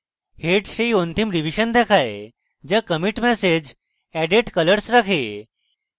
head সেই অন্তিম revision দেখায় যা কমিটি ম্যাসেজ added colors রাখে